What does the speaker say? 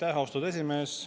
Aitäh, austatud esimees!